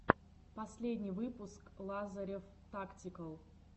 последний выпуск лазарев тактикал